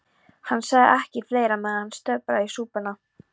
Hann sagði ekki fleira, meðan hann sötraði súpuna.